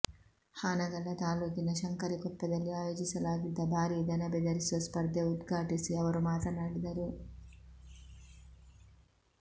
ಹಾನಗಲ್ಲ ತಾಲೂಕಿನ ಶಂಕರಿಕೊಪ್ಪದಲ್ಲಿ ಆಯೋಜಿಸಲಾಗಿದ್ದ ಭಾರಿ ದನ ಬೆದರಿಸುವ ಸ್ಪರ್ಧೆ ಉದ್ಘಾಟಿಸಿ ಅವರು ಮಾತನಾಡಿದರು